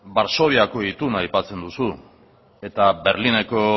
varsoviako ituna aipatzen duzu eta berlineko